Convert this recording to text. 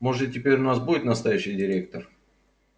может теперь у нас будет настоящий директор